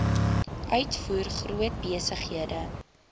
uitvoer groot besighede